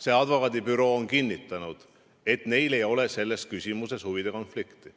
See advokaadibüroo on kinnitanud, et neil ei ole selles küsimuses huvide konflikti.